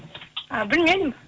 ы білмеймін